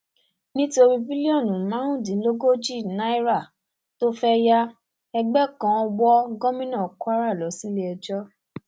nítorí bílíọnù márùndínlógójì náírà tó fẹẹ yá ẹgbẹ kan wọ gómìnà kwara lọ síléẹjọ